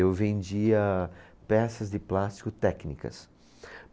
Eu vendia peças de plástico técnicas.